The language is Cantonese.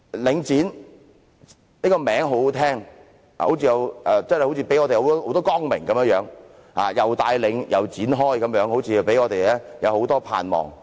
領展這個名字很動聽，真的好像帶來光明，既帶領，又展開，好像給我們很多盼望。